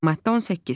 Maddə 18.